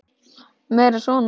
Meira svona!